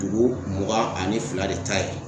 Dugu mugan ani fila de ta ye.